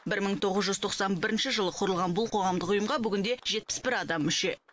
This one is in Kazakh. бір мың тоғыз жүз тоқсан бірінші жылы құрылған бұл қоғамдық ұйымға бүгінде жетпіс бір адам мүше